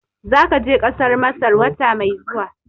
Zaka je Kasar Masar wata mai zuwa